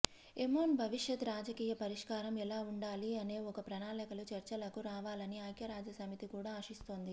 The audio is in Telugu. యెమెన్ భవిష్యత్ రాజకీయ పరిష్కారం ఎలా ఉండాలి అనే ఒక ప్రణాళికతో చర్చలకు రావాలని ఐక్యరాజ్యసమితి కూడా ఆశిస్తోంది